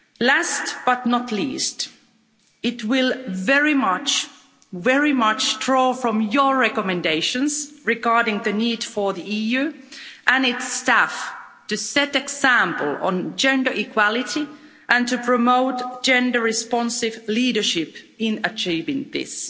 Last, but not least, it will very much very much draw on your recommendations regarding the need for the EU and its staff to set the example on gender equality and to promote gender responsive leadership in achieving this.